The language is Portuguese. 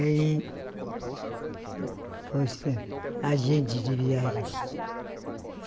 E aí... Foi ser agente de viagem.